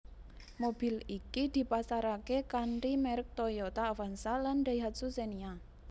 Mobil iki dipasaraké kanthi merk Toyota Avanza lan Daihatsu Xenia